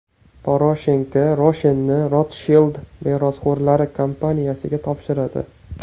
Poroshenko Roshen’ni Rotshild merosxo‘rlari kompaniyasiga topshiradi.